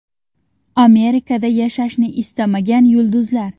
Amerikada yashashni istamagan yulduzlar.